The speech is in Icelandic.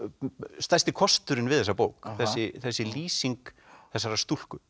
stærsti kosturinn við þessa bók þessi þessi lýsing þessarar stúlku